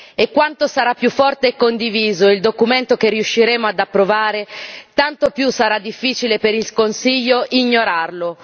E quanto sarà più forte e condiviso il documento che riusciremo ad approvare, tanto più sarà difficile per il Consiglio ignorarlo.